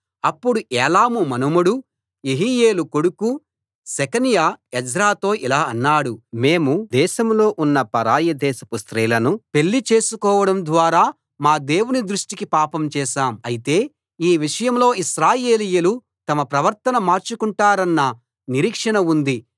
అప్పుడు ఏలాము మనుమడు యెహీయేలు కొడుకు షెకన్యా ఎజ్రాతో ఇలా అన్నాడు మేము దేశంలో ఉన్న పరాయి దేశపు స్త్రీలను పెళ్లి చేసుకోవడం ద్వారా మా దేవుని దృష్టికి పాపం చేశాం అయితే ఈ విషయంలో ఇశ్రాయేలీయులు తమ ప్రవర్తన మార్చుకొంటారన్న నిరీక్షణ ఉంది